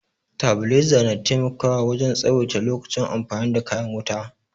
Tabiliza na taimakawa wajen tsawaita lokacin amfani da kayan wuta